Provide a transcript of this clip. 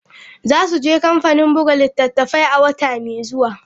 Za su je kamfanin buga littattafai a wata mai zuwa.